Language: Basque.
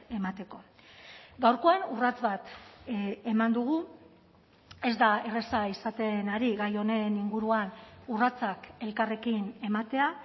emateko gaurkoan urrats bat eman dugu ez da erraza izaten ari gai honen inguruan urratsak elkarrekin ematea